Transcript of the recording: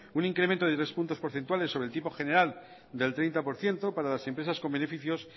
un incremento de tres puntos porcentuales sobre el tipo general del treinta por ciento para las empresas con beneficios